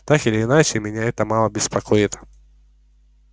так или иначе меня это мало беспокоит